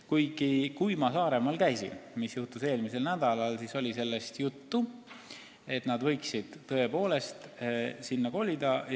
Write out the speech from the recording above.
Kuigi, kui ma käisin eelmisel nädalal Saaremaal, siis oli juttu, et nad võiksid tõepoolest sinna kolida.